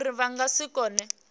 uri vha nga si kone